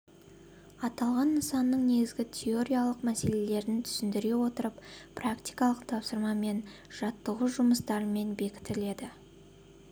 аталған нысанның негізгі теориялық мәселелерін түсіндіре отырып практикалық тапсырма мен жаттығу жұмыстарымен бекітіледі